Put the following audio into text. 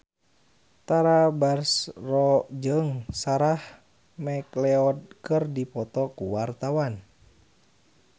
Tara Basro jeung Sarah McLeod keur dipoto ku wartawan